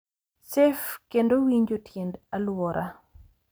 Safe, kendo winjo tiend alwora.